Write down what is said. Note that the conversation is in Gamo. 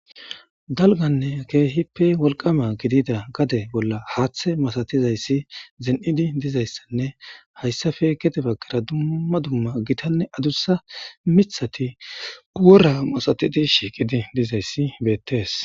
Dalganne keehippe wolqama gidida gade bolla haaththe masatizayssi zen7idi dizayssanne hayssafe kedeba gera dumma dumma gitanne adussa mithati uwora masatidi shiiqidi dizayssi beettees